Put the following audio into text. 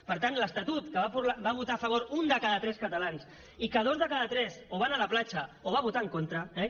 per tant l’estatut que va votar a favor un de cada tres catalans i que dos de cada tres o van anar a la platja o hi van votar en contra eh